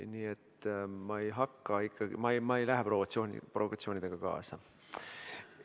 Nii et ma ei lähe provokatsioonidega kaasa.